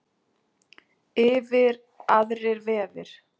Yfir aðrir vefir.